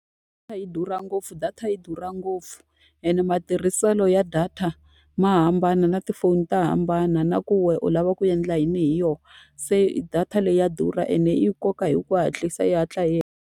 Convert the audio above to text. Data yi durha ngopfu data yi durha ngopfu, ene matirhiselo ya data ma hambana na tifoni ta hambana, na ku wena u lava ku endla yini hi yona. Se data leyi ya durha ene yi koka hi ku hatlisa, yi hatla yi hela.